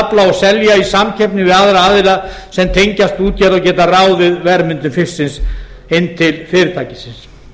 afla og selja í samkeppni við aðra aðila sem tengjast útgerð og geta ráðið verðmyndun fisksins inn til fyrirtækisins